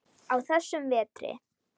á þessum vetri.